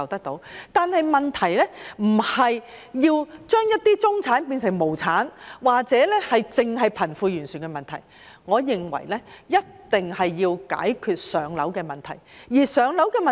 但是，問題不是要把中產變成無產，或只是解決貧富懸殊的問題，我認為一定要解決"上樓"問題。